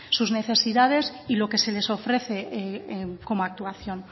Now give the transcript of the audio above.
sus necesidades y lo que se les ofrece como actuación